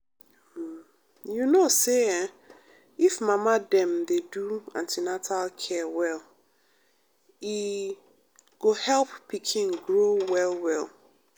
um you know say[um]if mama dem dey do an ten atal care well e um go help pikin grow well well.